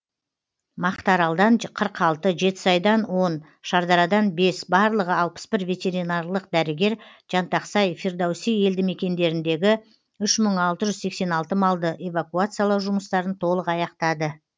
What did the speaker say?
мақтааралдан қырық алты жетісайдан он шардарадан бес барлығы алпыс бір ветеринарлық дәрігер жантақсай фирдоуси елді мекендеріндегі үш мың алты жүз сексен алты малды эвакуациялау жұмыстарын толық аяқтады